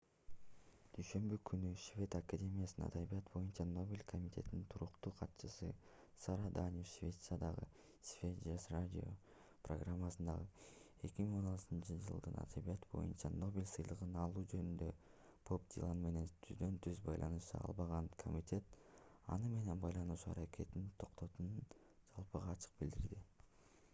дүйшөмбү күнү швед академиясынын адабият боюнча нобель комитетинин туруктуу катчысы сара даниус швециядагы sveriges radio программасында 2016-жылдын адабияты боюнча нобель сыйлыгын алуу жөнүндө боб дилан менен түздөн-түз байланыша албаган комитет аны менен байланышуу аракетин токтотконун жалпыга ачык билдирди